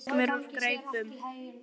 En það gekk mér úr greipum.